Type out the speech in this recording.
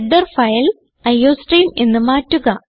header file iostream എന്ന് മാറ്റുക